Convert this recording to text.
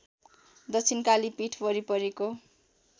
दक्षिणकाली पीठ वरिपरिको